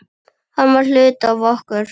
Hann var hluti af okkur.